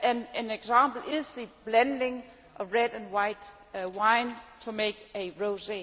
An example is the blending of red and white wine to make a rosé.